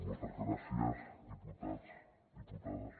moltes gràcies diputats diputades